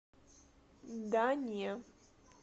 да не